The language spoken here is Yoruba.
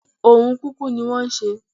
Ohun kúkú ní wọ́n ń ṣe